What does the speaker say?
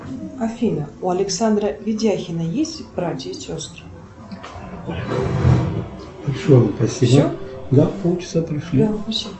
афина у александра видяхина есть братья и сестры